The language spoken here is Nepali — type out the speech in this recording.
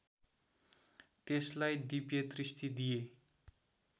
त्यसलाई दिव्यदृष्टि दिए